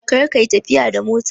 Kar ka yi tafiya da mota!